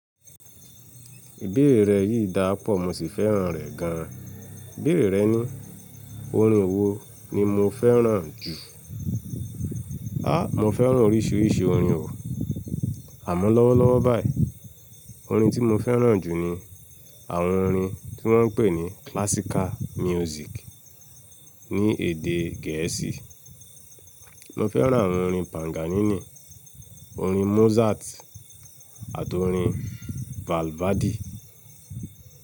Ìbéèrè rẹ yìí dáa pọ̀, mo sì fẹ́ràn rẹ̀ gan. Ìbéèrè rẹ ní, orin wo ni mo fẹ́ràn jù? Há! Mo fẹ́ràn oríṣiríṣi orin o. Àmọ́ lọ́wọ́lọ́wọ́ báyìí, orin tí mo fẹ́ràn jù ni àwọn orin tí wọ́n ń pè ní classical music ní èdè Gẹ̀ẹ́sì. Mo fẹ́ràn àwọn orin Paganini, orin Mozart àti orin Balvadi.